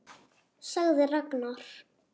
sagði Ragnar.